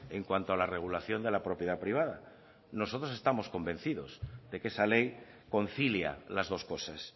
en cuanto a la regulación de la propiedad privada nosotros estamos convencidos de que esa ley concilia las dos cosas